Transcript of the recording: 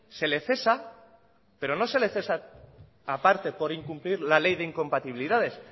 se le cesa pero no se le cesa aparte por incumplir la ley de incompatibilidades